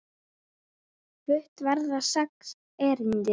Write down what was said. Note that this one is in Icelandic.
Flutt verða sex erindi.